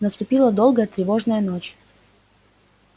наступала долгая тревожная ночь